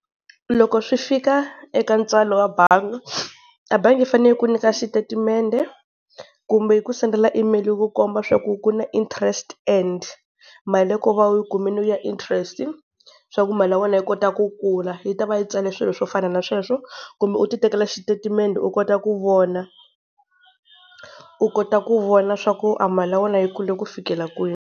Loko swi fika eka ntswalo wa bangi, a bangi yi fanele yi ku nyika xitatimende kumbe yi ku sendela email yi ku komba swa ku ku na interest and mali ya ko ku va wu yi kumile ya interest-i, swa ku mali ya wena yi kota ku kula yi ta va yi tsale swilo swo fana na sweswo. Kumbe u ti tekela xitatimendhe u kota ku vona. U kota ku vona swa ku a mali ya wena yi kule ku fikela kwini.